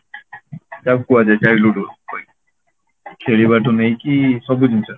ତାକୁ କୁହାଯାଏ childhood ଖେଳିବା ଠୁ ନେଇକି ସବୁ ଜିନିଷ